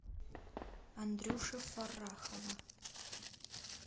андрюши фаррахова